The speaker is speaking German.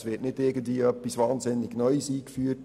Es wird da nicht etwas wahnsinnig Neues eingeführt.